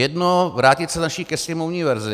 Jedno - vrátit se naší ke sněmovní verzi.